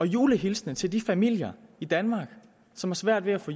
julehilsen til de familier i danmark som har svært ved at få